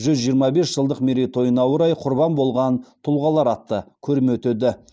жүз жиырма бес жылдық мерейтойына орай құрбан болған тұлғалар атты көрме өтеді